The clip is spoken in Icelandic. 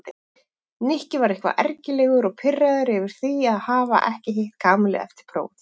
Nikki var eitthvað ergilegur og pirraður yfir því að hafa ekki hitt Kamillu eftir prófið.